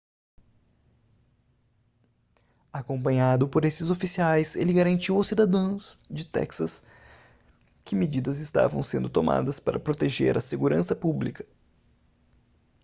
acompanhado por esses oficiais ele garantiu aos cidadãos de texas que medidas estavam sendo tomadas para proteger a segurança pública